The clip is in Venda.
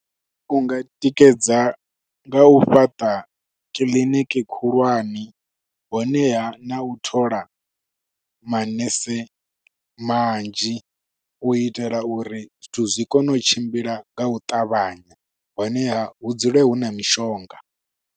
Unga tikedza nga u fhaṱa kiliniki khulwane, honeha na u thola manese manzhi. u itela uri zwithu zwi kone u tshimbila nga u ṱavhanya, honeha hu dzule hu na mishonga.